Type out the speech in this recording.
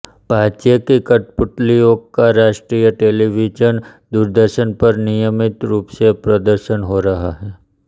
पाध्ये की कठपुतलियों का राष्ट्रीय टेलीविजन दूरदर्शन पर नियमित रूप से प्रदर्शन हो रहा है